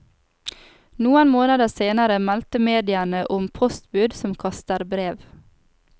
Noen måneder senere melder mediene om postbud som kaster brev.